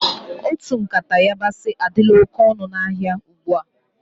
Otu nkata yabasi adila oké ọnụ na áhiá ugbua.